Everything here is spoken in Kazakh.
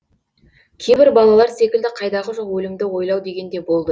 кейбір балалар секілді қайдағы жоқ өлімді ойлау деген де болды